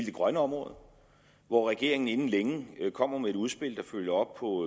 det grønne område hvor regeringen inden længe kommer med et udspil der følger op på